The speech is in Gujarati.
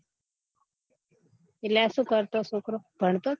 એટલે આ સુ કરતો છોકરો ભણતો